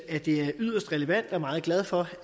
at det er yderst relevant og meget glade for